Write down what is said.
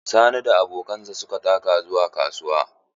Sani da abokansa su ka taka zuwa kasuwa.